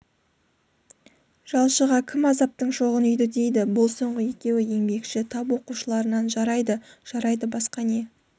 жалшыға кім азаптың шоғын үйді дейді бұл соңғы екеуі еңбекші тап оқушыларынан жарайды жарайды басқа не